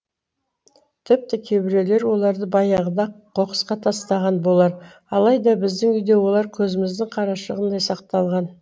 тіпті кейбіреулер оларды баяғыда ақ қоқысқа тастаған болар алайда біздің үйде олар көзіміздің қарашығындай сақталған